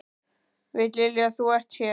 Veit Lilja að þú ert hér?